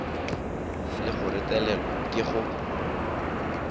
le go retelelwa ke go